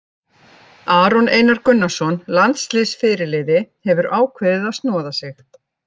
Aron Einar Gunnarsson, landsliðsfyrirliði, hefur ákveðið að snoða sig.